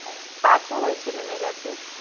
পাঁচ ও হয়েছে নেমে গেছে।